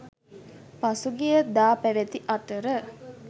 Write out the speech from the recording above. පසුගිය දා පැවති අතර